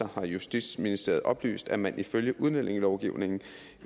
har justitsministeriet oplyst at man ifølge udlændingelovgivningen